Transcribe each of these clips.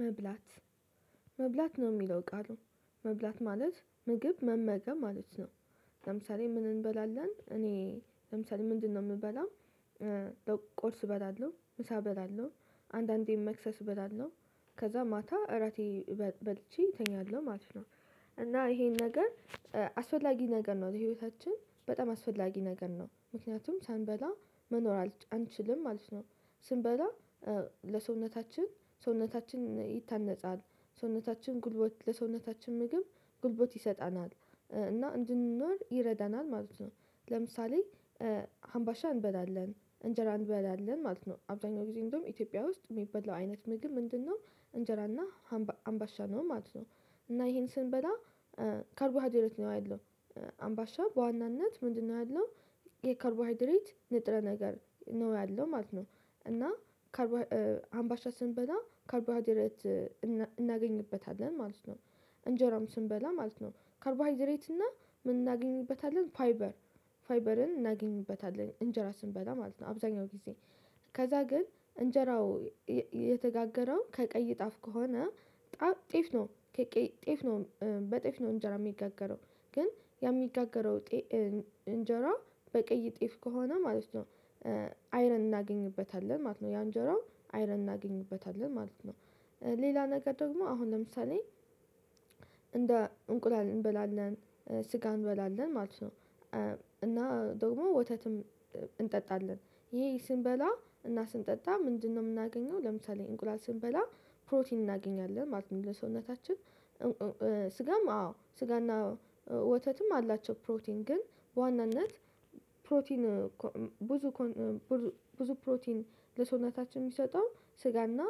መብላት መብላት ነው የሚለው ቃሉ መብላት ማለት ምግብ መመገብ ማለት ነው። ለምሳሌ ምን እንበላለን እኔ ለምሳሌ ምንድነው የምበላው? ቁርስ እበላለሁ ምሳ እበላለሁ አንዳንዴም መክሰስ እበላለሁ ከዛ ማታ እራቴን በልቼ እተኛለሁ ማለት ነው። እና ይሄን ነገር አስፈላጊ ነገር ነው ህይወታችን በጣም አስወዳጊ ነገር ነው ምክንያቱም ሳንበላ መኖር አንችልም ማለት ነው። ስንበላ ለሰውነታችን ሰውነታችን ይታነጻል ሰውነታችን ጉልበት ለሰውነታችን ምግብ ጉልበት ይሰጠናል እና እንድንኖር ይረዳናል ማለት ነው። ለምሳሌ አምባሻ እንበላለን እንጀራ እንበላለን ማለት ነው አብዛኛው ጊዜ እንደውም ኢትዮጵያ ውስጥ የሚበላው አይነት ምግብ ምንድነው? እንጀራና አምባሻ ነው ማለት ነው። እና ይሄን ስንበላ ካረቦሀይድሬት ነው ያለው። አምባሻ በዋናነት ምንድነው ያለው? የካርቦሃይድሬት ንጥረ ነገር ነው ያለው ማለት ነው። እና አምባሻ ስንበላ ከርቦሀዲረት እናገኝበታለን ማለት ነው። እንጀራም ስንበላ ማለት ነው ካርቦሃይድሬት እና ምን እናገኝበታለን ፋይበር። ፋይበርን እናገኝበታለን እንጀራ ስንበላ ማለት ነው አብዛኛው ጊዜ። ከዛ ግን እንጀራው የተጋገረው ከቀይ ጠፍ ከሆነ ጠፍ ጤፍ ነው። ጤፍ ነው በጤፍ ነው እንጀራ የሚጋገረው ግን ያ የሚጋገረው እንጀራ በቀይ ጤፍ ከሆነ ማለት ነው። አይረን እናገኝበታለን ማለት ነው ያንጀራው አይረን እናገኝበታለን ማለት ነው። ሌላ ነገር ደግሞ አሁን ለምሳሌ እንደ እንቁላል እንበላለን ስጋ እንበላለን ማለት ነው። እና ደግሞ ወተትም እንጠጣለን ይሄ ስንበላ እና ስንጠጣ ምንድነው የምናገኘው? ለምሳሌ እንቁላል ስንበላ ፕሮቲን እናገኛለን ማለት ነው። ለሰውነታችን ስጋም አዎ ስጋና ወተትም አላቸው ፕሮቲን ግን በዋናነት ፕሮቲን ብዙ ፕሮቲን ለሰውነታችን የሚሰጠው ስጋና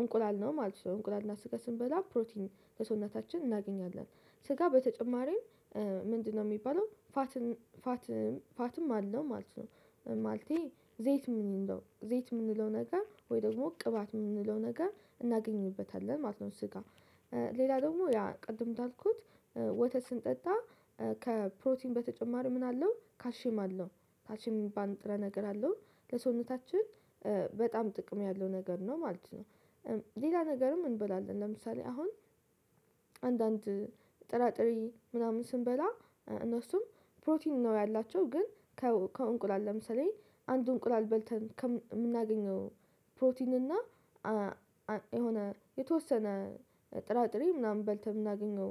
እንቁላል ነው ማለት ነው። እንቁላል እና ስጋ ስንበላ ፕሮቲን ለሰውነታችን እናገኛለን። ስጋ በተጨማሪም ምንድነው የሚባለው ፋት? ፋትም አለው ማለት ነው። ማለቴ ዘይት ምንድን ነው ዘይት የምንለው ነገር ወይ ደግሞ ቅባት የምንለው ነገር እናገኝበታለን ማለት ነው። ስጋ ሌላ ደግሞ ያ ቅድም እንዳልኩት ወተት ስንጠጣ ከፕሮቲን በተጨማሪ ምን አለው ካልሽየም አለው። ካልሽየም ሚባል ንጥረ ነገር አለው። ለሰውነታችን በጣም ጥቅም ያለው ነገር ነው ማለት ነው። ሌላ ነገርም እንበላለን ለምሳሌ አሁን አንዳንድ ጥራጥሬ ምናምን ስንበላ እነሱም ፕሮቲን ነው ያላቸው ግን ከእንቁላል ለምሳሌ አንድ እንቁላል በልተን ከምናገኘው ፕሮቲን እና የሆነ የተወሰነ ጥራጥሬ ምናምን በልተህ የምናገኘው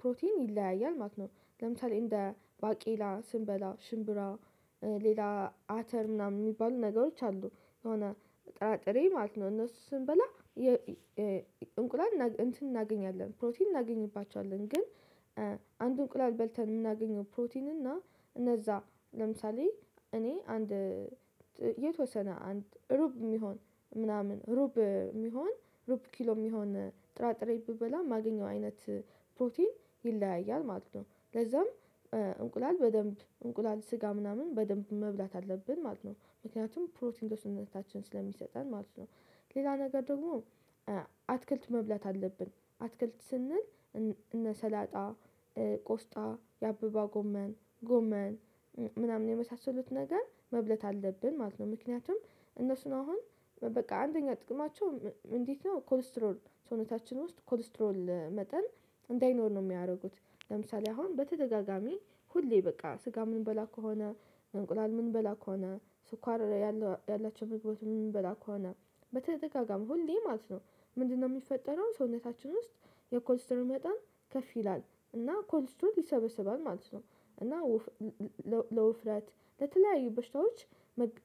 ፕሮቲን ይለያያል ማለት ነው። ለምሳሌ እንደ ባቄላ ስንበላ ሽምብራ ሌላ አተር ምናምን የሚባሉ ነገሮች አሉ። የሆነ ጥራጥሬ ማለት ነው እነሱ ስንበላ እንቁላል እንትን እናገኛለን ፕሮቲን እናገኝባቸዋለን። ግን አንድ እንቁላል በልተን የምናገኘው ፕሮቲን እና እነዛ ለምሳሌ እኔ አንድ የተወሰነ አንድ ሩብ የሚሆን ምናምን ሩብ የሚሆን ሩብ ኪሎ የሚሆን ጥራጥሬ ብበላ ማገኘው አይነት ፕሮቲን ይለያያል ማለት ነው። ለዛም እንቁላል በደንብ እንቁላል ስጋ ምናምን በደንብ መብላት አለብን ማለት ነው ምክንያቱም ፕሮቲን ለሰውነታችን ስለሚሰጠን ማለት ነው። ሌላ ነገር ደግሞ አትክልት መብላት አለብን አትክልት ስንል እነ ሰላጣ ቆስጣ የአበባ ጎመን ጎመን ምናምን የመሳሰሉት ነገር መብለት አለብን ማለት ነው። ምክንያቱም እነሱን አሁን በቃ አንደኛ ጥቅማቸው እንዴት ነው? ኮሌስትሮል ሰውነታችን ውስጥ ኮሌስትሮል መጠን እንዳይኖር ነው የሚያደርጉት። ለምሳሌ አሁን በተደጋጋሚ ሁሌ በቃ ስጋ ምንበላ ከሆነ እንቁላል ምንበላ ከሆነ ስኳር ያላቸው ምግቦች ምንበላ ከሆነ በተደጋጋሚ ሁሌ ማለት ነው። ምንድነው የሚፈጠረው? ሰውነታችን ውስጥ የኮንስትሮን መጣን ከፍ ይላል እና ኮልስትሮት ይሰበስባል ማለት ነው። እና ለውፍረት ለተለያዩ በሽታዎች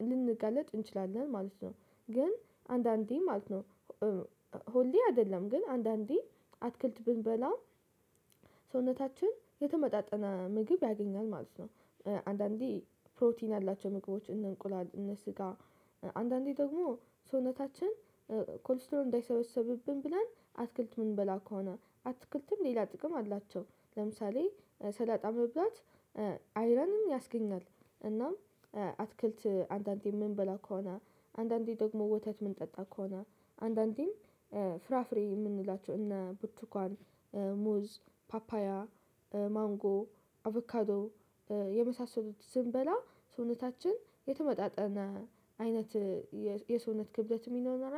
ልንጋለጥ እንችላለን ማለት ነው። ግን አንዳንዴ ማለት ነው ሁሌ አይደለም ግን አንዳንዴ አትክልት ብንበላ ሰውነታችን የተመጣጠነ ምግብ ያገኛል ማለት ነው። አንዳንዴ ፕሮቲን ያላቸው ምግቦች እነ እንቁላል እነ ስጋ አንዳንዴ ደግሞ ሰውነታችን ኮልስትሮል እንዳይሰበሰብብን ብለን አትክልት ምን በላ ከሆነ አትክልትም ሌላ ጥቅም አላቸው። ለምሳሌ ሰላጣ መብላት አይረንም ያስገኛል። እናም አትክልት አንዳንዴ ምንበላ ከሆነ አንዳንዴ ደግሞ ወተት ምንጠጣ ከሆነ አንዳንዴም ፍራፍሬ የምንላቸው እነ ቡርቱኳን ሙዝ ፓፓያ ማንጎ አቮካዶ የመሳሰሉት ስንበላ ሰውነታችን የተመጣጠነ አይነት የሰውነት ክብደት የሚኖረው